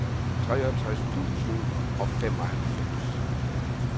treogtres tusind og femoghalvfems